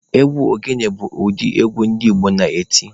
Egwu ogene bụ ụdị egwu ndị Igbo na-eti.